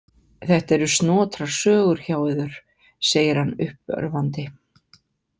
Þetta eru snotrar sögur hjá yður, segir hann uppörvandi.